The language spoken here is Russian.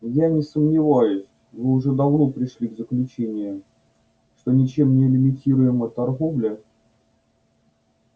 я не сомневаюсь вы уже давно пришли к заключению что ничем не лимитируемая торговля